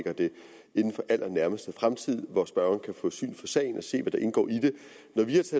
inden for allernærmeste fremtid hvor spørgeren kan få syn for sagen og se hvad der indgår i i den